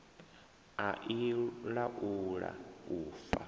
a i laula u fa